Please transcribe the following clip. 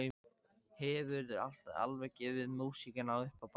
Hefurðu alveg gefið músíkina upp á bátinn?